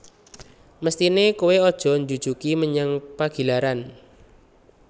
Mesthine koe aja njujugi menyang Pagilaran